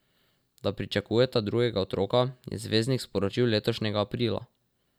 Da pričakujeta drugega otroka, je zvezdnik sporočil letošnjega aprila.